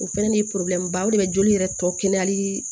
O fɛnɛ ye ba de be joli yɛrɛ tɔ kɛnɛyalii